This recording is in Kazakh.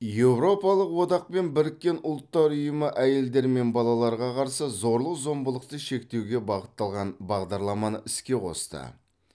еуропалық одақ пен біріккен ұлттар ұйымы әйелдер мен балаларға қарсы зорлық зомбылықты шектеуге бағытталған бағдарламаны іске қосты